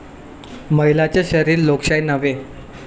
महिलांचं शरीर लोकशाही नव्हे!'